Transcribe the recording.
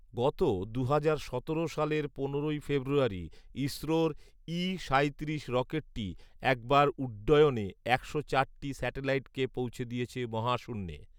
গত দুহাজার সতেরো সালের পনেরোই ফেব্রুয়ারি ইসরোর ই সাঁইত্রিশ রকেটটি একবার উড্ডয়নে একশো চারটি স্যাটেলাইটকে পৌঁছে দিয়েছে মহাশূন্যে